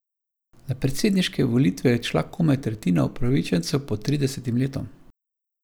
Na predsedniške volitve je odšla komaj tretjina upravičencev pod tridesetim letom.